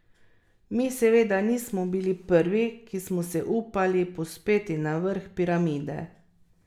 Mi, seveda, nismo bili prvi, ki smo se upali povzpeti na vrh piramide.